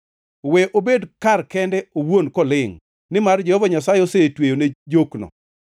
We obed kar kende owuon kolingʼ, nimar Jehova Nyasaye osetweyone jokno.